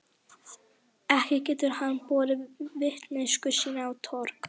Ekki getur hann borið vitneskju sína á torg.